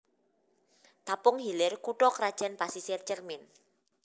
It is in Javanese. Tapung Hilir kutha krajan Pasisir Cermin